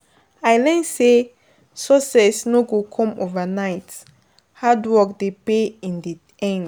I learn say, success no go come overnight, hard work dey pay in di end.